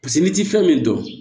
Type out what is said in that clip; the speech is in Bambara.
Paseke n'i ti fɛn min dɔn